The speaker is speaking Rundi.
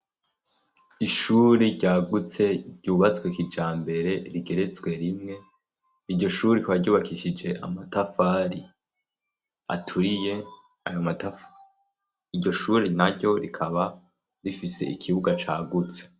Ishure ryagutse ryubatswe kijambere rigeretswe rimwe iryo shure ryubakishije amatafari aturiye ayo matafari yo shuri naryo rikaba rifise ikibuga cagutse.